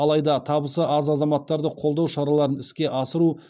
алайда табысы аз азаматтарды қолдау шараларын іске асыру